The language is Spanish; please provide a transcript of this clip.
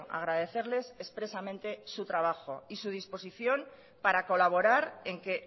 agradecerles expresamente su trabajo y su disposición para colaborar en que